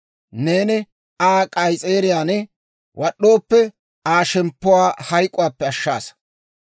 Neeni Aa k'ayis'eeriyaan wad'd'ooppe, Aa shemppuwaa hayk'k'uwaappe ashshaasa.